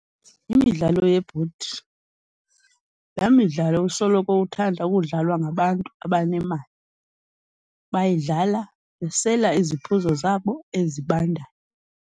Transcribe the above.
Imidlalo yebhodi laa midlalo isoloko ithanda ukudlalwa ngabantu abanemali, bayidlala besela iziphuzo zabo ezibandayo.